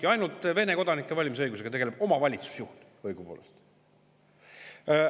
Ossinovski, omavalitsusjuht õigupoolest, tegeleb ainult Vene kodanike valimisõigusega.